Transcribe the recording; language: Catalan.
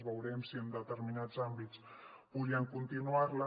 veurem si en determinats àmbits podrien continuar la